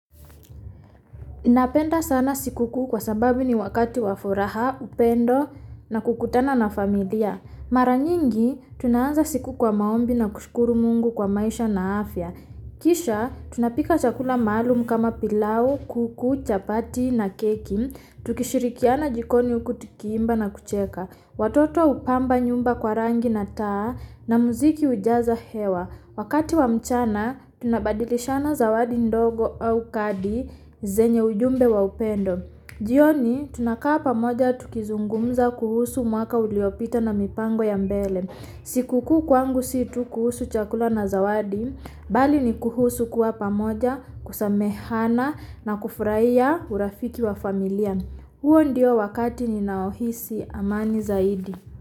Napenda sana sikukuu kwa sababu ni wakati wa furaha upendo na kukutana na familia. Mara nyingi tunaanza siku kwa maombi na kushukuru mungu kwa maisha na afya. Kisha tunapika chakula maalum kama pilau, kuku, chapati na keki. Tukishirikiana jikoni uku tukiimba na kucheka. Watotoa upamba nyumba kwa rangi na taa na muziki ujaza hewa. Wakati wa mchana, tunabadilishana zawadi ndogo au kadi zenye ujumbe wa upendo. Hiyo ni tunakaa pamoja tukizungumza kuhusu mwaka uliopita na mipango ya mbele. Sikukuu kwangu si tu kuhusu chakula na zawadi, bali ni kuhusu kuwa pamoja, kusamehehana na kufurahiya urafiki wa familia. Huo ndio wakati ninaohisi amani zaidi.